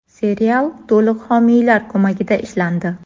Serial to‘liq homiylar ko‘magida ishlandi.